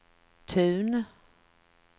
Tun